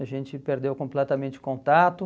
A gente perdeu completamente o contato.